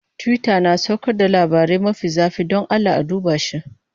Twitter na saukar da labarai mafi zafi, don Allah a duba shi.